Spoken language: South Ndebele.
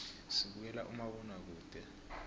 sibukela umabonakude